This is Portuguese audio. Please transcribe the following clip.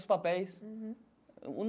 Os papéis.